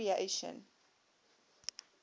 recreation